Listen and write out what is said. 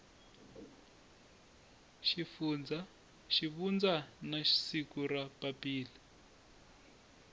xivundza na siku ra papila